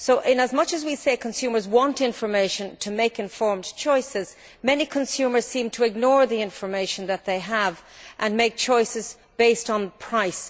So, although we say consumers want information to make informed choices, many consumers seem to ignore the information that they have and make choices based on price.